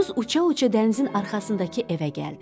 Xoruz uça-uça dənizin arxasındakı evə gəldi.